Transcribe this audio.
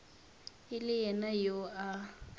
e le yena yo a